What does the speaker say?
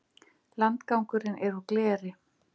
Landgangurinn er úr gleri.